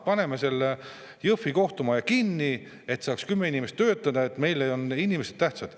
Paneme selle Jõhvi kohtumaja kinni, et saaks kümme inimest edasi töötada, meile on inimesed tähtsad.